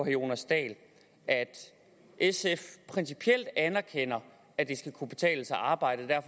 jonas dahl at sf principielt anerkender at det skal kunne betale sig at arbejde